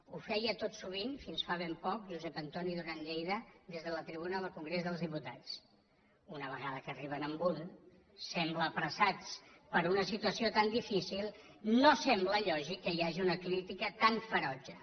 ho feia tot sovint fins fa ben poc josep antoni duran lleida des de la tribuna del congrés dels diputats una vegada que arriben a un sembla que apressats per una situació tan difícil no sembla lògic que hi hagi una crítica tan ferotge